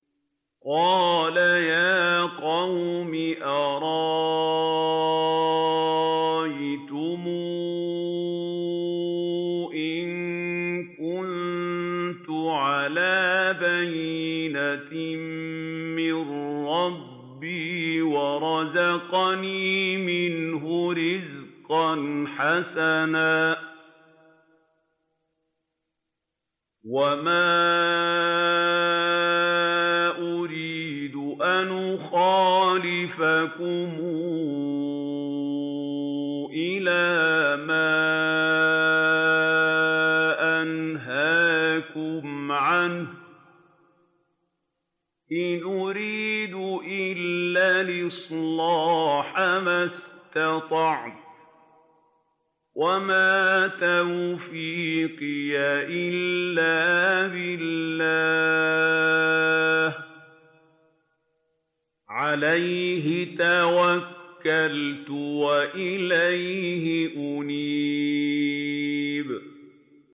قَالَ يَا قَوْمِ أَرَأَيْتُمْ إِن كُنتُ عَلَىٰ بَيِّنَةٍ مِّن رَّبِّي وَرَزَقَنِي مِنْهُ رِزْقًا حَسَنًا ۚ وَمَا أُرِيدُ أَنْ أُخَالِفَكُمْ إِلَىٰ مَا أَنْهَاكُمْ عَنْهُ ۚ إِنْ أُرِيدُ إِلَّا الْإِصْلَاحَ مَا اسْتَطَعْتُ ۚ وَمَا تَوْفِيقِي إِلَّا بِاللَّهِ ۚ عَلَيْهِ تَوَكَّلْتُ وَإِلَيْهِ أُنِيبُ